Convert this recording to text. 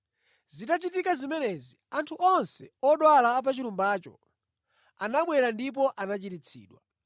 Zitachitika zimenezi, anthu onse odwala a pa chilumbacho anabwera ndipo anachiritsidwa.